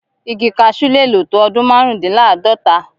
Igi kaṣú le lè tó ọdún márùndínláàádọ́ta.